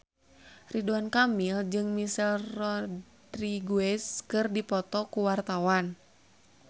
Ridwan Kamil jeung Michelle Rodriguez keur dipoto ku wartawan